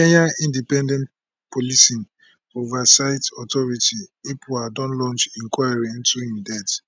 kenya independent policing oversight authority ipoa don launch inquiry into im death